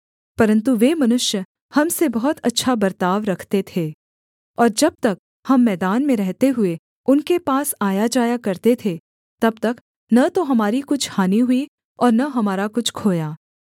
परन्तु वे मनुष्य हम से बहुत अच्छा बर्ताव रखते थे और जब तक हम मैदान में रहते हुए उनके पास आयाजाया करते थे तब तक न तो हमारी कुछ हानि हुई और न हमारा कुछ खोया